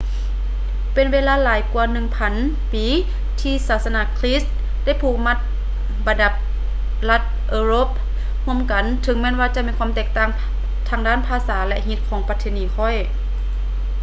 ເປັນເວລາຫຼາຍກວ່າໜຶ່ງພັນປີທີ່ສາສະໜາຄຼິດໄດ້ຜູກບັນດາລັດເອີລົບຮ່ວມກັນ ເຖິງແມ່ນວ່າຈະມີຄວາມແຕກຕ່າງທາງດ້ານພາສາ ແລະ ຮີດຄອງປະເພນີ ຂ້ອຍ